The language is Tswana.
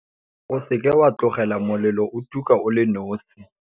O seka wa tlogela molelo o tuka o le nosi.